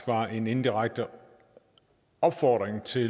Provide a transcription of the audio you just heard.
var en indirekte opfordring til